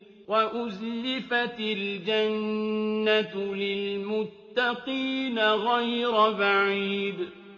وَأُزْلِفَتِ الْجَنَّةُ لِلْمُتَّقِينَ غَيْرَ بَعِيدٍ